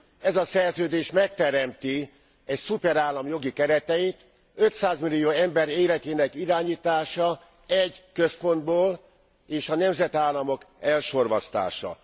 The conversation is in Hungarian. Ez a Szerződés megteremti egy szuperállam jogi kereteit 500 millió ember életének irányítása egy központból és a nemzetállamok elsorvasztása.